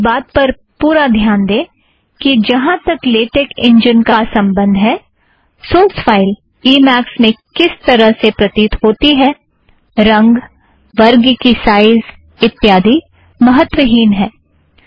इस बात पर पुरा ध्यान दें कि जहाँ तक लेटेक इंजन का संबंध है सोर्स फ़ाइल ई मॆक्स में किस तरह से प्रतीत होता है - रंग वर्ग की साइज़ इत्यादि महत्त्वहीन है